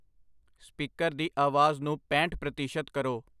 Speaker ਦੀ ਆਵਾਜ਼ ਨੂੰ ਪੈਂਹਠ ਪ੍ਰਤੀਸ਼ਤ ਕਰੋ।